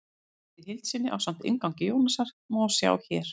Kvæðið í heild sinni, ásamt inngangi Jónasar, má sjá hér.